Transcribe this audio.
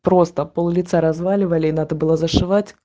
просто пол-лица разваливали и надо было зашивать